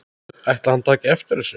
Ætli hann taki eftir þessu?